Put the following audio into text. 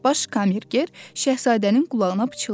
Baş kammerger Şahzadənin qulağına pıçıldadı.